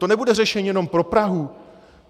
To nebude řešení jenom pro Prahu.